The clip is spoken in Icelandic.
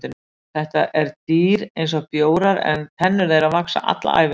þetta eru dýr eins og bjórar en tennur þeirra vaxa alla ævina